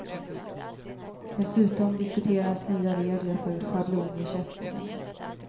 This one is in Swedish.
Dessutom diskuteras nya regler för schablonersättningen.